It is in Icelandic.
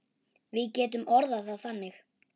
Við getum orðað það þannig.